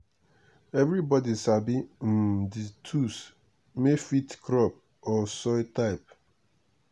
everybody sabi um the tools may fit crop or soil type.